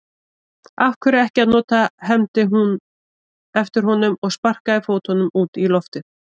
Af hverju ekki að nota, hermdi hún eftir honum og sparkaði fótunum út í loftið.